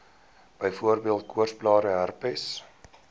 byvoorbeeld koorsblare herpes